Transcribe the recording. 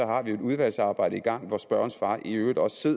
har vi jo et udvalgsarbejde i gang hvor spørgerens far i øvrigt også